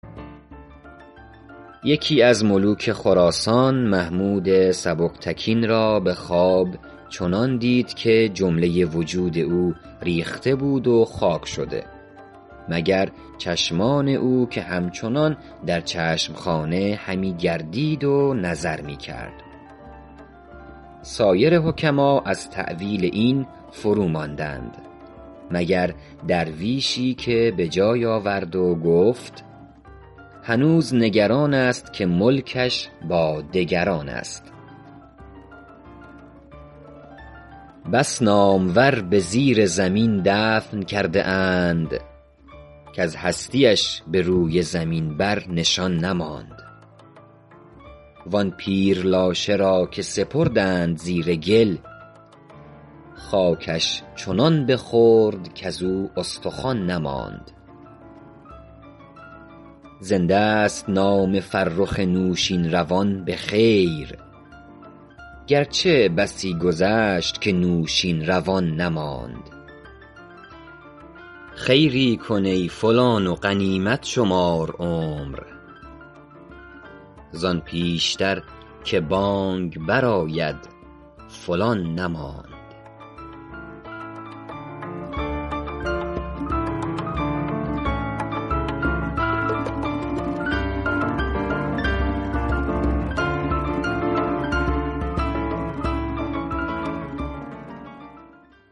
یکی از ملوک خراسان محمود سبکتگین را به خواب چنان دید که جمله وجود او ریخته بود و خاک شده مگر چشمان او که همچنان در چشم خانه همی گردید و نظر می کرد سایر حکما از تأویل این فروماندند مگر درویشی که به جای آورد و گفت هنوز نگران است که ملکش با دگران است بس نامور به زیر زمین دفن کرده اند کز هستی اش به روی زمین بر نشان نماند وآن پیر لاشه را که سپردند زیر گل خاکش چنان بخورد کزو استخوان نماند زنده ست نام فرخ نوشین روان به خیر گرچه بسی گذشت که نوشین روان نماند خیری کن ای فلان و غنیمت شمار عمر زآن پیشتر که بانگ بر آید فلان نماند